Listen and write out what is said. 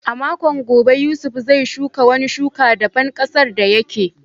A makon gobe, Yusuf zai shuka wani shuka daban ƙasar da yake.